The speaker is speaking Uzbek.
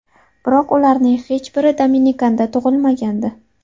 Biroq ularning hech biri Dominikanda tug‘ilmagandi.